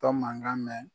Tɔ mankan mɛn